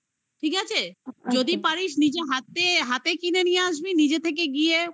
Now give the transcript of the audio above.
ঠিক আছে? যদি পারিস নিজে হাতে কিনে নিয়ে আসবি. নিজে থেকে